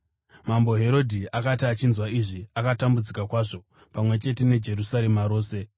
Mambo Herodhi akati achinzwa izvi, akatambudzika kwazvo pamwe chete neJerusarema rose.